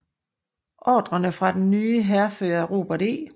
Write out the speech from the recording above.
Ordrerne fra den nye hærfører Robert E